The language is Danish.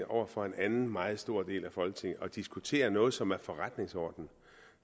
over for en anden meget stor del af folketinget og diskutere noget som er forretningsorden